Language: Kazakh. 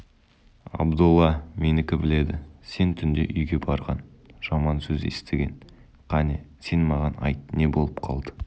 абдолла менікі біледі сен түнде үйге барған жаман сөз естіген қане сен маған айт не болып қалды